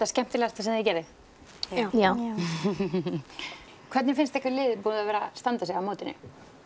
skemmtilegasta sem þið gerið já hvernig finnst ykkur liðið búið að vera að standa sig á mótinu